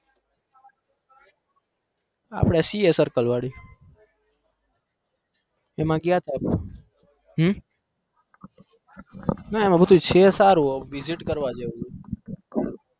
આપણે CA circle વાળી એમાં ગ્યા હતા. હમ ના એમાં બધું છે સારું visit કરવા જેવું છે.